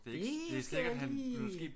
Det skal jeg lige